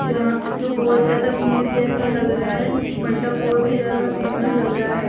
जहाँ जो बहोत ज्यादा भीड़ जैसा लग रहा है मंडप बहोत ही ज्यादा सुंदर लग रा है।